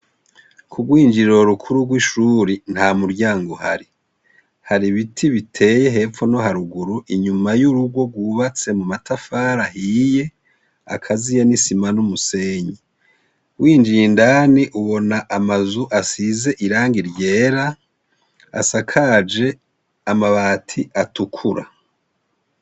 Kurw'injiriro rukuru rw'ishuri ntamuryango uhari. Hari ibiti biteye hepfo no haruguru, inyuma y'urugo rwubatse mumatafari ahiye, akaziye n'isima n'umusenyi. Winjiye indani ubona amazu asize irangi ryera, asakaje amabati atukura.